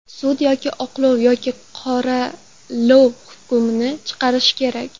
Sud yoki oqlov, yoki qoralov hukmini chiqarishi kerak.